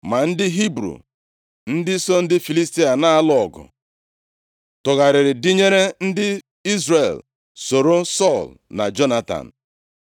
Ma ndị Hibru, ndị so ndị Filistia na-alụ ọgụ, tụgharịrị dịnyere ndị Izrel soro Sọl na Jonatan.